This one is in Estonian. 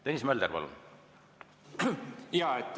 Tõnis Mölder, palun!